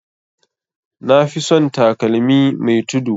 Nafi son takalmi mai tudu